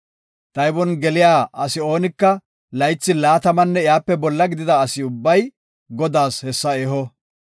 Taybon geliya asi oonika laythi laatamanne iyape bolla gidida ubbay Godaas hessa eho.